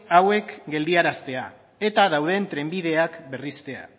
hauek geldiaraztea eta dauden trenbideak berritzea